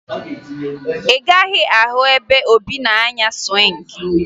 Ị gaghị ahụ ebe Obi na-anya sụwịngị